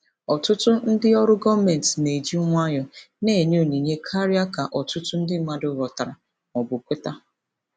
Ọtụtụ ndị ọrụ gọọmentị na-eji nwayọọ na-enye onyinye karịa ka ọtụtụ ndị mmadụ ghọtara ma ọ bụ kweta.